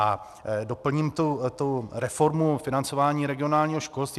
A doplním tu reformu financování regionálního školství.